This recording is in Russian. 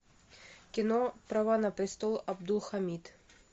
кино права на престол абдулхамид